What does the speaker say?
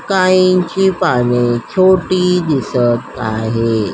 काहीची पाने छोटी दिसत आहे.